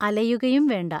അലയുകയും വേണ്ട.